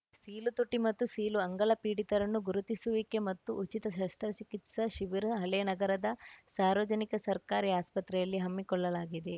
ಸೀಳುತುಟಿ ಮತ್ತು ಸೀಳು ಅಂಗಳ ಪೀಡಿತರನ್ನು ಗುರುತಿಸುವಿಕೆ ಮತ್ತು ಉಚಿತ ಶಸ್ತ್ರ ಚಿಕಿತ್ಸಾ ಶಿಬಿರ ಹಳೇನಗರದ ಸಾರ್ವಜನಿಕ ಸರ್ಕಾರಿ ಆಸ್ಪತ್ರೆಯಲ್ಲಿ ಹಮ್ಮಿಕೊಳ್ಳಲಾಗಿದೆ